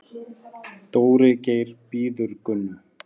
Dóri Geir bíður Gunnu.